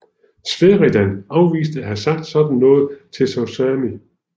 Sheridan afviste at have sagt sådan til Tosawi